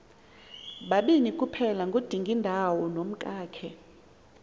babini kuphelangudingindawo nomkakhe